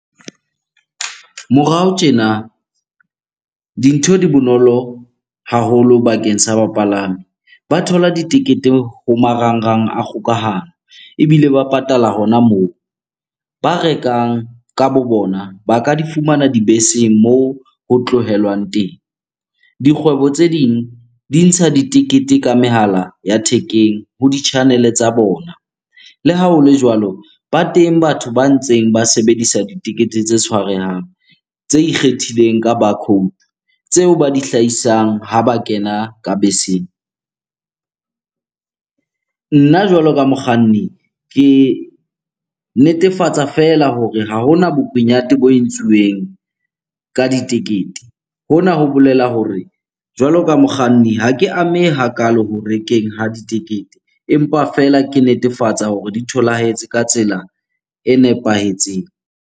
Morao tjena, dintho di bonolo haholo bakeng sa bapalami. Ba thola ditekete ho marangrang a kgokahano ebile ba patala hona moo. Ba rekang ka bo bona ba ka di fumana dibeseng moo ho tlohelwang teng. Dikgwebo tse ding di ntsha ditekete ka mehala ya thekeng ho di-channel-e tsa bona. Le ha hole jwalo, ba teng batho ba ntseng ba sebedisa ditekete tse tshwarehang, tse ikgethileng ka bar code, tseo ba di hlahisang ha ba kena ka beseng. Nna jwalo ka mokganni, ke netefatsa feela hore ha hona bokunyate bo entsuweng ka ditekete. Hona ho bolela hore jwalo ka mokganni, ha ke amehe hakalo ho rekeng ha ditekete empa fela ke netefatsa hore di tholahetse ka tsela e nepahetseng.